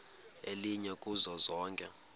elinye kuzo zonke